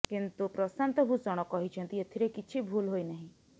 କିନ୍ତୁ ପ୍ରଶାନ୍ତ ଭୂଷଣ କହିଛନ୍ତି ଏଥିରେ କିଛି ଭୁଲ ହୋଇନାହିଁ